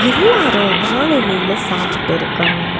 எல்லாரு வாழ எலையில சாப்ட்டு இருக்காங்க.